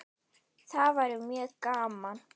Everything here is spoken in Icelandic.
Það væri mjög gaman.